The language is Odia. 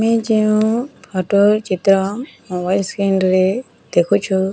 ଆମେ ଯେଉଁ ଫୋଟ ଚିତ୍ର ମୋବାଇଲ ସ୍କ୍ରିନ୍ ରେ ଦେଖୁଛୁ --